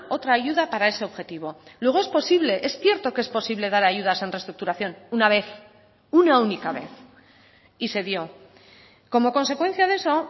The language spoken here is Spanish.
otra ayuda para ese objetivo luego es posible es cierto que es posible dar ayudas en reestructuración una vez una única vez y se dio como consecuencia de eso